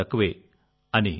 ఇబ్బంది కూడా తక్కువే